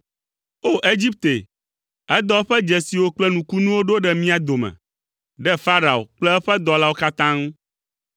O! Egipte, edɔ eƒe dzesiwo kple nukunuwo ɖo ɖe mía dome, ɖe Farao kple eƒe dɔlawo katã ŋu.